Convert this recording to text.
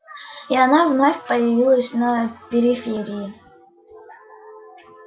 и она вновь появилась на периферии